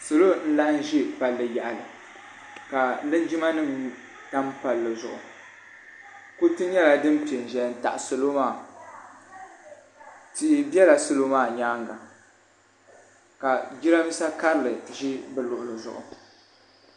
Salo n laɣim ʒɛ palli yaɣali ka linjima nim tam palli zuɣu kuriti nyɛla din pɛ n ʒɛya n taɣi salo maa tia bɛla salo maa nyaanga ka jiranbiisa karili ʒɛ bi luɣuli zuɣu.